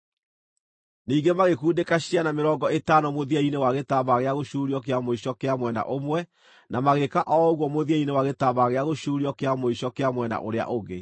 Ningĩ magĩkundĩka ciana mĩrongo ĩtano mũthia-inĩ wa gĩtambaya gĩa gũcuurio kĩa mũico kĩa mwena ũmwe, na magĩĩka o ũguo mũthia-inĩ wa gĩtambaya gĩa gũcuurio kĩa mũico kĩa mwena ũrĩa ũngĩ.